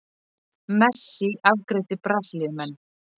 Messi afgreiddi Brasilíumenn